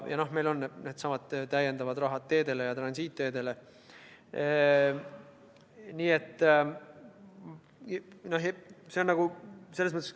Ja meil on needsamad täiendavad rahad teedele ja transiitteedele.